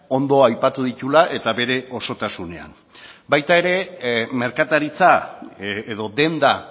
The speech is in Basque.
ondo aipatu dituela eta bere osotasunean baita ere merkataritza edo denda